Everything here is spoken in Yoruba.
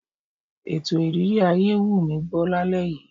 Ètò ìrírí ayé wù mí gbọ́ lálẹ́ yìí.